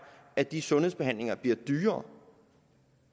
at de sundhedsbehandlinger bliver dyrere